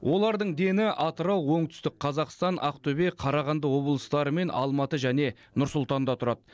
олардың дені атырау оңтүстік қазақстан ақтөбе қарағанды облыстары мен алматы және нұр сұлтанда тұрады